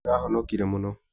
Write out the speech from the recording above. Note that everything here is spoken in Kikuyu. Nĩũrahonokire mũno.